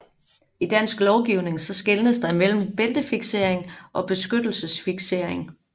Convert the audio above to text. I Dansk lovgivning skelnes der mellem bæltefiksering og beskyttelsesfiksering